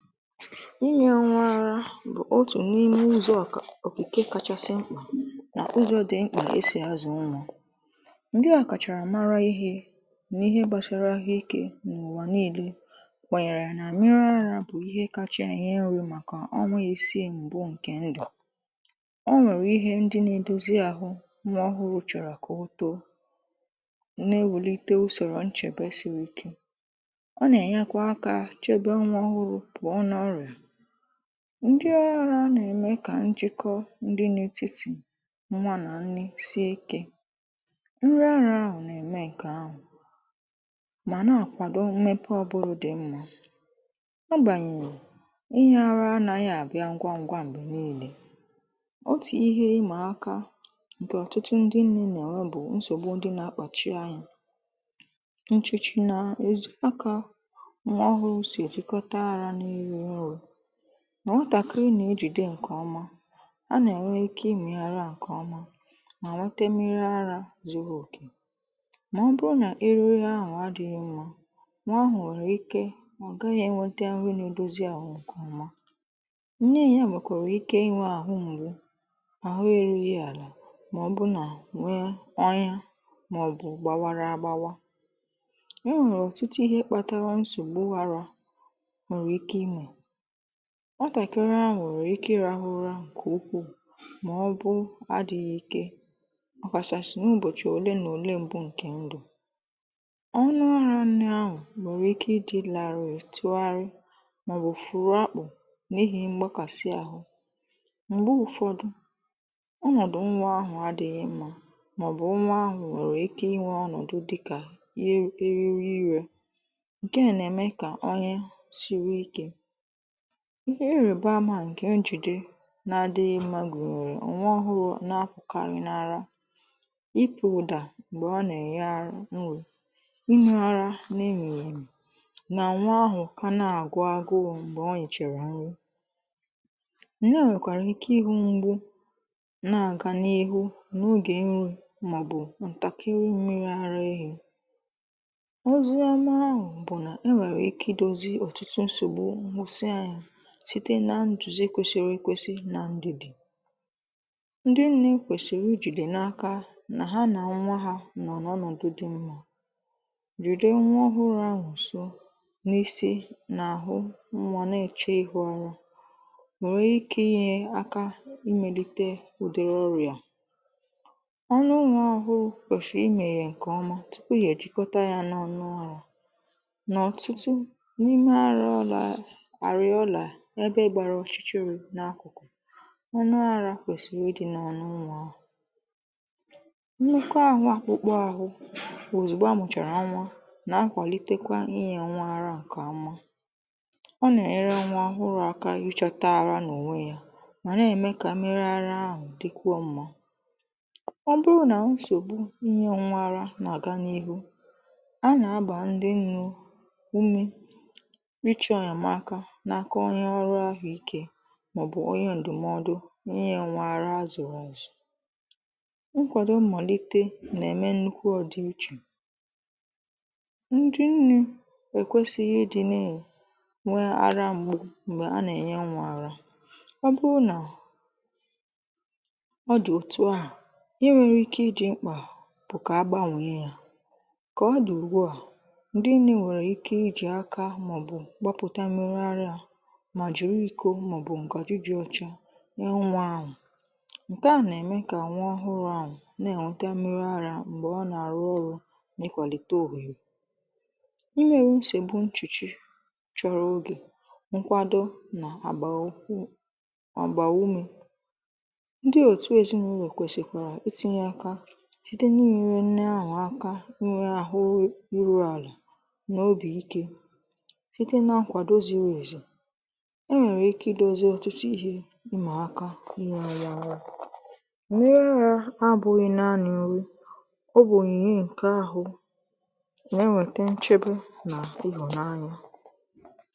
Ị́nyē ńwá árá bụ̀ ótù n’ímé ụ́zọ̀ ọ̀kà ọ̀kìkè káchásị́ ḿkpà nà ụ́zọ̀ dị ḿkpà ésì ázụ̀ ńwá. Ńdị́ ọ́kàchàrà màrà íhé nà íhé gbàsàrà àhụ́ íké n’ụ̀wà ńíílé kwànyèrè nà ḿmírí árá bụ́ íhé káchá ènyé ńrī màkà ọ́nwá ísíí ǹkè ńdụ̀. Ọ́ ǹwèrè íhé ńdị́ nà-édózí àhụ́ ńwá ọ́hụ́rụ́ chọ̀rọ̀ kà ótóó, nà-éwùlíté ùsòrò ǹchèbè sírí íké, ọ̀ nà-ènyèkwá áká chébé ńwá ọ́hụ́rụ́ pụ́ọ̀ n'ọ́rị̀á. Ńdị́ árá nà-èmé kà ńjìkọ́ dị́ n’étìtí ńwá ná ńné síé íké, ńrí árá àhụ̀ nà-èmé ǹkè àhụ̀ mà na-ákwàdó ḿmépè ụ̀bụ́rụ̀ dị́ ḿmá, ágbàǹyeghị̀ ị̀nyē árá ánághị́ àbịá ńgwá ńgwá m̀gbè ńíílé. Ótù íhé ị́mà áká bù ọ̀tụ̀tụ̀ ńdị́ ńné nà-ènwé bụ̀ nsògbu ndi nà-àkpàchi ányá ǹchị̀chị̀ nà èzí áká ńwá ọ́hụ́rụ́ sí ètíkọ́tá árá n'írú ọ́rụ́ nà ńwátàkị́rị́ ná-éjìdé ǹkè ọ́má. Á nà-ènwé íké ị́mị̀ árá ǹkè ọ́má má ńwétá ḿmírí árá zúrú òkè mà ọ́ bụ́rụ́ ná érúghí áhụ̀ ádị́ghị́ ḿmá ńwá áhụ̀ ǹwèrè íké ọ̀ gághị́ énwété ńrí n'édózí áhụ̀ ǹkè ọ́má. Ńné yá ǹwèkwàrà íké ị́nwē àhụ́ ḿgbú, àhụ́ érúghí àlà mà ọ̀ bụ̀ nà ǹwéé ọ́nyá má ọ̀ bụ̀ gbáwárá ágbáwá. È ǹwèrè ọ̀tụ́tụ́ íhé kpátàrà ńsògbù árá nwèrè íké ị́ṅụ́. Ńwátàkị́rị́ áhụ̀ ǹwèrè ike ị́rāhụ́ ụ́rá ǹkè úkwúù mà ọ̀ bụ́ àdị́ghị́ íké, ọ̀ kàshàsị̀ n’ụ́bọ̀chị̀ òlé nà òlé ḿbụ́ ǹkè ńdù. Ọ́nụ́ árá ńné áhụ̀ ǹwèrè íké ị́dị̀ làrị̀ị̀ tụ́ghárị́ màọ̀bụ̀ fụ̀rụ̀ ákpù n’íhì ḿgbákàị́ áhụ́, m̀gbè ụ̀fọ́dụ́ ọ́nọ̀dụ́ ńwá áhụ̀ àdị́ghị́ ḿmá màọ̀bụ́ ńwá áhụ̀ ǹwèrè íké ị́nwē ọ́nọ̀dụ́ dị́kà yá érírí íré, ǹkè á nà-émé ká ọ́nyá síwé íké. Íhé ị́rị́bà àmà ǹkè njùdè nà-àdị́ghị́ ḿmá gùnyèrè ńwá ọ́hụ́rụ́ nà-ápùkárị̀ n’árá, ị́pụ̀ ụ̀dà m̀gbè ọ nà-ènyé árá ńrí, ị́nyē árá nà ènyìghì èmè nà nwa áhụ̀ kà ná-àgụ́ ágụ́ū m̀gbè órìchàrà ńrí. Ńné à ǹwèkwàrà íké ị́hū m̀gbù na-àgà n’ihu n’ógè ńrí màọ́bù ǹtàkị́rị́ ḿmírí árá éhí. Ózíọ̀má áhụ̀ bù nà, è ǹwèrè íké ídōzí ọ̀tụ̀tụ̀ ńsògbù ńhụ́sị́ ányá, síté nà ǹdùzí kwésírí èkwésì. Ńdị́ ńné kwèsìrì íjìdé n’áká nà ha nà nwa ha nọ n’ọ̀nọ̀dụ̀ dị́ ḿmá. Rìdó ńwá ọ́hụ́rụ́ áhụ̀ ńsó n’ísí nà-àhụ nwa na-èche ihu árá, ǹwèè nwèrè íké ị́nyé áká ímélíté ụ̀dị̀rị̀ ọ́rị̀á. Ọ́nụ́ ńwá ọ́hụ́ụ́ kwèshìì ị́mèyè ǹkè ọ́má túpù íhé èjíkọ́tá yá nà ọnụ árá. Nà ọ̀tụ́tụ́ n’ímé arola areola ébé gbárá ọ̀chị́chị́rị̀ n'ákụ̀kụ̀, ọ́nụ́ árá kwèsìrì ị́dị̀ n'ọ́nụ́ ńwá áhụ̀. Ńnúkwú áhụ̀, ákpụ́kpọ̀ áhụ̀ òzùgbò á mụ̀chàrà ńwá ná-ákwàlítékwá ị́nyē ńwá árá ńké ọ́má. Ọ́ ná-ènyèrè ńwá ọ́hụ́rụ́ áká ị́chōtá árá n'ònwé yá má ná-èmé ka ḿmírí árá áhụ̀ dị́kwúò ḿmá. Ọ́ bụ́rụ́ ná ńsògbù ị́nyē ńwá árá ná-àgá n'íhú, á ná-àgbá ńdị́ ńné úmé ị́chọ̀ ènyèmáká n'áká ónyé ọ́rụ́ áhụ̀ íké má ọ ọ́ bụ́ ónyé ǹdụ̀mọ́dụ́ inyē ńwá árá azụrụ azụ. Ǹkwádo m̀màlíté naà-èmé ńnúkwú ọ̀dị̀íchè, ńdị́ ńné èkwèsíghí ị́dị́ ná-ènwé àhụ́ ḿgbú m̀gbè à nà-ènyé ńwá árá. Ọ́ bụ́rụ́ nà ọ̀ dị̀ òtù á, íhé ǹwèrè íké ị́ dị́ ḿkpà bụ́ kà ágbáǹwèè yá, kà ọ̀ dị̀ ùgbúà ńdị́ nné ǹwèrè íké í jì áká màọ́bụ̀ gbápụ̀tá mmírí árá mà jìrí íkó màọbụ̀ ǹgàjì dị́ ọ́chá nyé ńwá ánwụ̀ ǹkè a nà-èmelé kà ńwá ọ́hụ́rụ́ ánwụ̀ ná-ènwétá mmírí árá m̀gbè ọ́ nà-àrụ ọ́rụ́ n’ị́kwàlítè òhùghè imèrè úsègbù ǹchìchì chọ̀rọ̀ ógè ǹkwádó nà-àgbàrà úkwú na ágbà u àgbà úmé. Ńdị́ òtù èzínàụ́lọ̀ kwèsìkwàrà ítínyé áká síté n'ị́nyéré ńné áhụ̀ áká ńwéré àhụ́ írú àlà nà óbì íké síté ná ǹkwádó zírí ézí. È ǹwèrè íké ídózí ọ̀tụ́tụ́ íhé ị́mà áká ḿmírí árá, ḿmírí árá ábụ́ghị́ ńaánị́ ńrí, ọ́ bụ̀ ònyìnyé ǹkè áhụ̀ nà-ńwétá ǹchèbè nà ị́hụ̀ńányá.